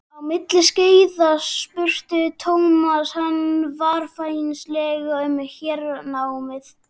Á milli skeiða spurði Thomas hann varfærnislega um hernámið.